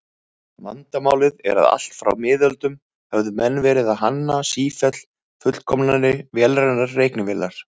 Vandamálið er að allt frá miðöldum höfðu menn verið að hanna sífellt fullkomnari vélrænar reiknivélar.